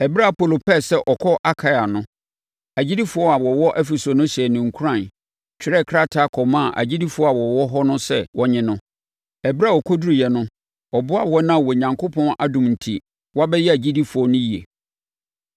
Ɛberɛ a Apolo pɛɛ sɛ ɔkɔ Akaia no, agyidifoɔ a wɔwɔ Efeso no hyɛɛ no nkuran, twerɛɛ krataa kɔmaa agyidifoɔ a wɔwɔ hɔ no sɛ wɔnnye no. Ɛberɛ a ɔkɔduruiɛ no, ɔboaa wɔn a Onyankopɔn adom enti, wɔabɛyɛ agyidifoɔ no yie.